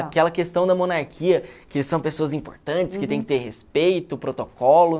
Aquela questão da monarquia, que são pessoas importantes, que tem que ter respeito, protocolo.